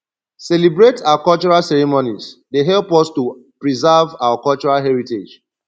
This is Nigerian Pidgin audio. celebrate our cultural ceremonies dey help us to preserve our cultural heritage